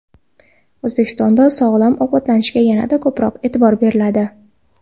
O‘zbekistonda sog‘lom ovqatlanishga yanada ko‘proq e’tibor beriladi.